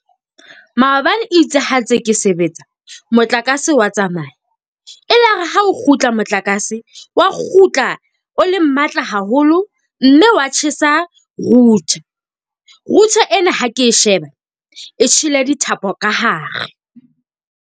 Maobane itse ha ntse ke sebetsa motlakase wa tsamaya. Elare ha o kgutla motlakase wa kgutla o le matla haholo mme wa tjhesa router. Router ena ha ke e sheba e tjhele dithapo ka hare.